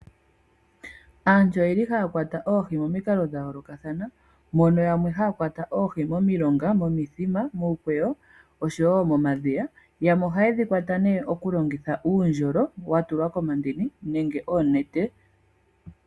Aantu oye li haya kwata oohi momikalo dha yoolokathana mono yamwe haya kwata oohi momilonga, momithima, muukweyo, oshowo momadhiya. Yamwe ohaye dhi kwata nee okulongitha uundjolo wa tulwa komandini, nenge oonete.